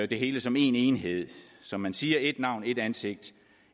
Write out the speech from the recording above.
det hele som en enhed som man siger et navn et ansigt